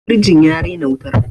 firjin ya rena wutar